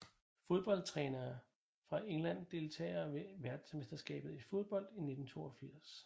Fodboldtrænere fra England Deltagere ved verdensmesterskabet i fodbold 1982